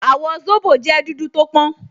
Àwọ̀ zobo jẹ́ dúdú tó pọ́n